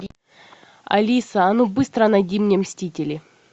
алиса а ну быстро найди мне мстители